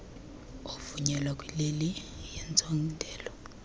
ovunyelwa kwileli yentsontela